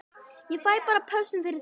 Ég fæ bara pössun fyrir það.